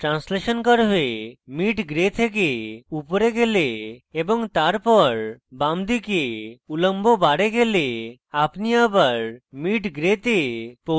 আমি translation curve mid gray থেকে উপরে গেলে এবং তারপর বামদিকে উলম্ব bar গেলে আমি bar mid gray তে পৌছে যাই